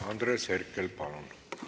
Andres Herkel, palun!